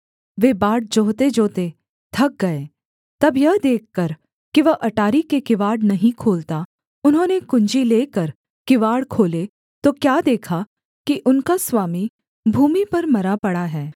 वे बाट जोहतेजोहते थक गए तब यह देखकर कि वह अटारी के किवाड़ नहीं खोलता उन्होंने कुँजी लेकर किवाड़ खोले तो क्या देखा कि उनका स्वामी भूमि पर मरा पड़ा है